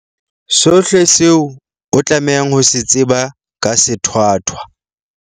Sohle seo o tlamehang ho se tseba ka sethwathwa